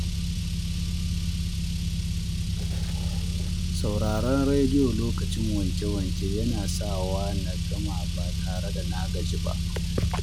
Sauraron rediyo lokacin wanke-wanke yana sawa na gama ba tare da na gaji ba.